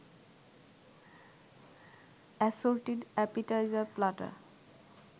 assorted appetizer platter